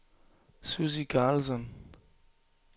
Sussi Karlsson